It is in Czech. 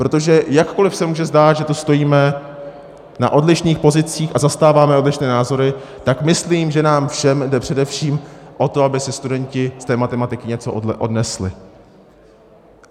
Protože jakkoli se může zdát, že tu stojíme na odlišných pozicích a zastáváme odlišné názory, tak myslím, že nám všem jde především o to, aby si studenti z té matematiky něco odnesli.